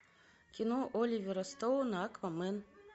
кино оливера стоуна аквамен